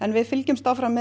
við fylgjumst áfram með